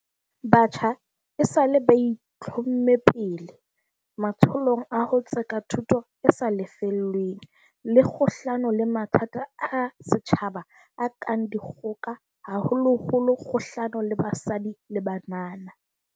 Batjha esale ba itlhomme pele matsholong a ho tseka thuto e sa lefellweng, le kgahlano le mathata a setjhabeng a kang dikgoka haholoholo kgahlano le basadi le banana.